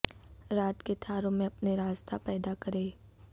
رات کے تاروں میں اپنے راز داں پیدا کرے